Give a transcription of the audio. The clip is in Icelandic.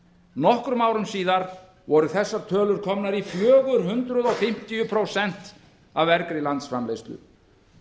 nokkrum árum síðar voru þessar tölur komnar í fjögur hundruð fimmtíu prósent af vergri landsframleiðslu